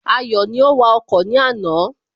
Ayọ̀ ni ó wa ọkọ̀ ní àná